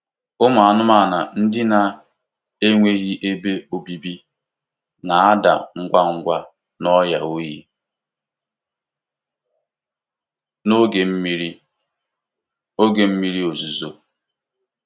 Ụmụ anụmanụ ndị na-enweghị ebe obibi na-ada ngwa ngwa n'ọrịa oyi na oge mmiri oge mmiri ozuzo.